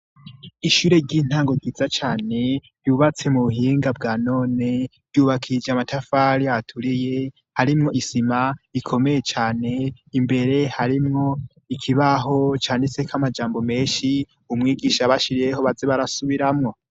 Ishure ry'intango ryiza cane ryubatse mu buhinga bwa none, ryubakije amatafari aturiye, harimwo isima ikomeye cane, imbere harimwo ikibaho canditseko amajambo menshi, umwigisha yabashiriyeho baze barasubiramwo.